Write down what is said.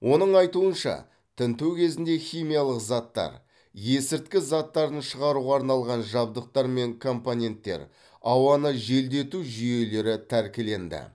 оның айтуынша тінту кезінде химиялық заттар есірткі заттарын шығаруға арналған жабдықтар мен компоненттер ауаны желдету жүйелері тәркіленді